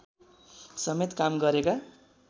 समेत काम गरेका